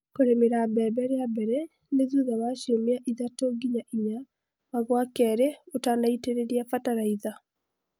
Kũremera mbembe rĩambere nĩ thutha wa ciũmia ithatu nginya inya ma gwakerĩ ũtanaitereria batalaiza